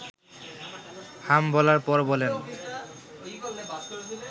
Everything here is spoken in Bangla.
হাম বলার পর বলেন